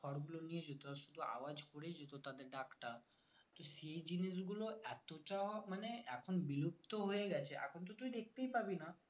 খড়গুলো নিয়ে যেত শুধু আওয়াজ করেই যেত তাদের ডাকটা তো সেই জিনিসগুলো এতটা মানে এখন বিলুপ্ত হয়ে গেছে এখন তো তুই দেখতেই পাবি না